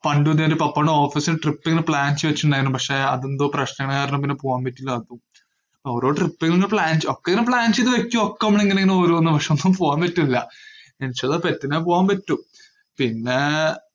പണ്ടിതുപോലെ ഉപ്പാടെ office ഇല് trip ഇങ്ങനെ plan ചെയ്തുവെച്ചിട്ട്ണ്ടായിരുന്നു, പക്ഷേ അതെന്തോ പ്രശ്നം കാരണം പിന്നെ പോവാൻ പറ്റീല്ല ആർക്കും. ഓരോ trip ഇങ്ങനൊക്കെ plan ചെയ്~ ഒക്കെ ഇങ്ങനെ plan ചെയ്ത് വെക്കുവൊക്കെ നമ്മൾ, അങ്ങനെയിങ്ങനെ ഓരോന്നാ പ്രശ്‍നം, അപ്പം പോവാൻ പറ്റൂല്ല, പറ്റുന്ന പോകാൻ പറ്റും. പിന്നേ